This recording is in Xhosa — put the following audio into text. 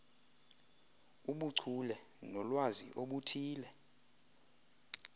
ubuchule nolwazi oluthile